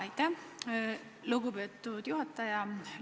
Aitäh, lugupeetud juhataja!